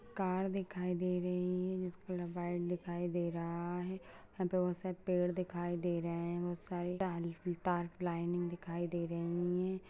Car दिखाई दे रही है जिसका कलर व्हाइट दिखाई दे रहा है और बोहोत से पेड़ दिखाई दे रहे हैं बोहोत सारे पलाइनिंग दिखाई दे रही है।